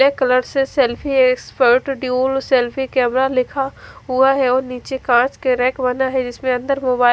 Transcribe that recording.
black colour से selfie expert टिउल selfie camera लिखा हुआ है और निचे काच के रेक बने है जिसके अंदर मोबाइल --